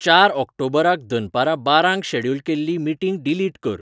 चार ऑक्टॉबराक दनपारां बारांक शॅड्युल केल्ली मीटिंग डीलीट कर